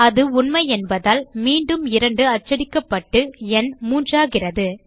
அது உண்மையென்பதால் மீண்டும் 2 அச்சடிக்கப்பட்டு ந் மூன்றாகிறது